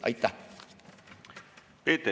Aitäh!